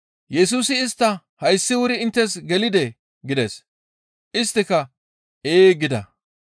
«Yesusi istta hayssi wuri inttes gelidee?» gides. Isttika «Ee» gida.